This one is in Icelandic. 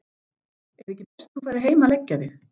Er ekki best þú farir heim að leggja þig?